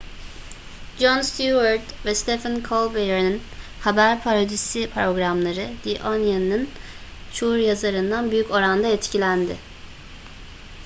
jon stewart ve stephen colbert'in haber parodisi programları the onion'un çoğu yazarından büyük oranda etkilendi